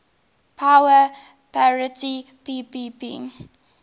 power parity ppp